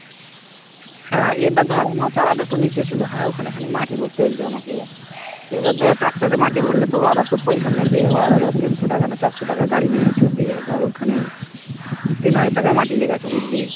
হ্যাঁ আবার ধর আমার চালা টা একটু নিচে ছিল হ্যাঁ ওখানে খানিক মাটি ভরতে হয়েছে আমাকে আবার ধর tractor এ মাটি ভরলে তো তোর কত পয়সা নেবে োর তো তিনশ টাকার না চারশ টাকা গাড়ি নিয়েছে দিয়ে ধর ওখানে তিন হাজার টাকার মাটি লেগে গেছে বুঝলি